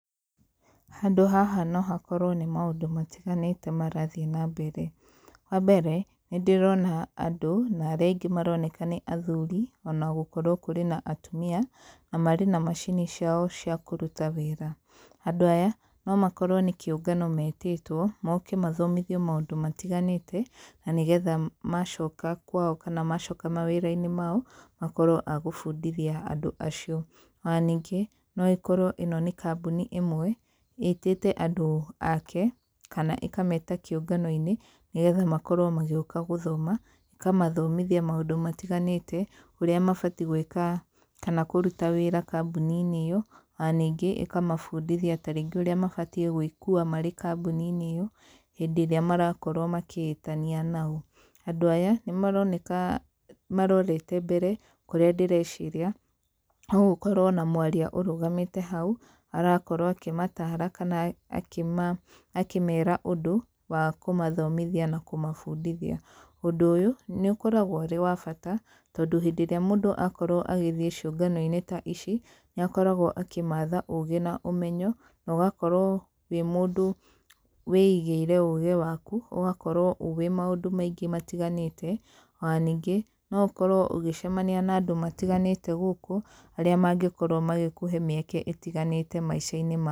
Handũ haha no hakorwo nĩ maũndũ matiganĩte marathiĩ na mbere. Wa mbere, nĩ ndĩrona andũ, na arĩa aingĩ maroneka nĩ athuri, ona gũkorwo kũrĩ na atumia. Na marĩ na macini ciao cia kũruta wĩra. Andũ aya, no makorwo nĩ kĩũngano metĩtwo, moke mathomithio maũndũ matiganĩte, na nĩgetha macoka kwao kana macoka mawĩra-inĩ mao, makorwo a gũbundithia andũ acio. Ona ningĩ, no ĩkorwo ĩno nĩ kambuni ĩmwe, ĩtĩte andũ ake, kana ĩkameta kĩũngano-inĩ, nĩgetha makorwo magĩũka gũthoma, ĩkamathomithia maũndũ matiganĩte, ũrĩa mabatiĩ gwĩka, kana kũruta wĩra kambuni-inĩ ĩyo. Ona ningĩ ĩkamabundithia tarĩngĩ ũrĩa mabatiĩ gwĩkua marĩ kambuni-inĩ ĩyo, hĩndĩ ĩrĩa marakorwo makĩĩtanio nao. Andũ aya, nĩ maroneka marorete mbere, kũrĩa ndĩreciria, no gũkorwo na mwaria ũrũgamĩte hau, arakorwo akĩmataara, kana akĩmera ũndũ, wa kũmathomithia na kũmabundithia. Ũndũ ũyũ, nĩ ũkoragwo ũrĩ wa bata, tondũ hĩndĩ ĩrĩa mũndũ akorwo agĩthiĩ ciũnga-inĩ ta ici, nĩ akoragwo akĩmatha ũũgĩ na ũmenyo, na ũgakorwo wĩ mũndũ wĩigĩire ũũgĩ waku, ũgakorwo ũĩ maũndũ maingĩ matiganĩte. Ona ningĩ, no ũkorwo ũgĩcemania na andũ matiganĩte gũkũ, arĩa mangĩkorwo magĩkũhe mĩeke ĩtiganĩte maica-inĩ.